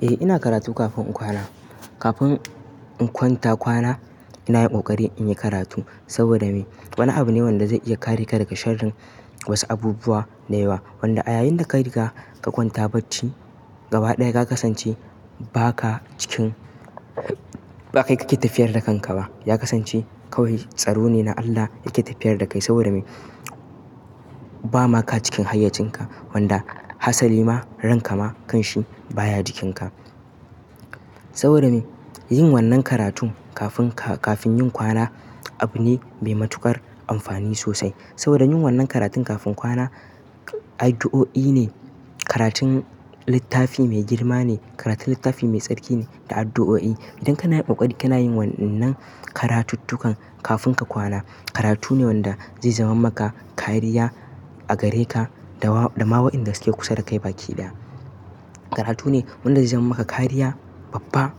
Eh ina karatu kafin in kwana. Kafin in kwanta kwana ina yin ƙoƙari in yi karatu saboda me? Wani abu ne wanda zai iya kare ka daga sharrin wasu abubuwa da yawa. Wanda a yayin da ka riga ka kwanta bacci gaba ɗaya ka kasance ba ka cikin, ba kai kake tafiyar da kanka ba. Ya kasance kawai, tsaro ne na Allah yake tafiyar da kai saboda me? Ba ma ka cikin hayyacinka wanda hasali ma, ranka ma kanshi baya jikinka. Saboda me? Yin wannan karatun kafin ka, kafin yin kwana abu ne mai matuƙar amfani sosai. Saboda yin wannan karatun kafin kwana addu'o'i ne, karatun littafi mai girma ne, karatun littafi mai tsarki ne da addu'o'i. Idan kana yin ƙoƙari kana yin wannan karatuttukan kafin ka kwana, karatu ne wanda zai zama maka kariya a gare ka da wa, da ma wa'inda suke kusa da kai baki ɗaya. Karatu ne wanda zai zama maka kariya babba.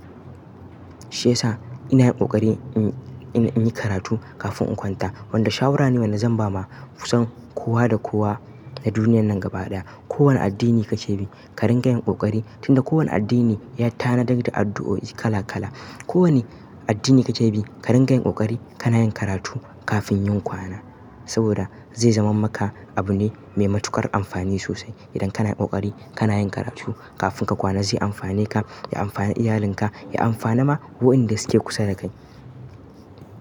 Shi ya sa ina yin ƙoƙari in, ina yin karatu kafin in kwanta. Wanda shawara ne wanda zan ba ma kusan kowa da kowa na duniyar nan gaba ɗaya. Ko wane addini kace bi, ka ringa yin ƙoƙari tunda kowane addini ya tanadar da addu'o'i kala kala. Ko wane addini kake bi, ka ringa yin ƙoƙari kana yin karatu kafin yin kwana. Saboda zai zama maka abu ne mai matuƙar amfani sosai. Idan kana yin ƙoƙari kana yin karatu kafin ka kwana, zai amfane ka, ya amfane iyalinka, ya amfane ma wa'inda suke kusa da kai.